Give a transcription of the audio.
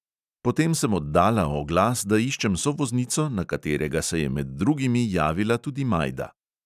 Potem sem oddala oglas, da iščem sovoznico, na katerega se je med drugimi javila tudi majda.